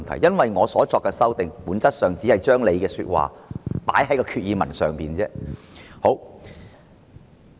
因為我所作的修訂議案，本質上只是把他的說話放在決議案內而已。